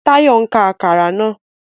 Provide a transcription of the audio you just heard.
Tayo n ká Àkàrà náà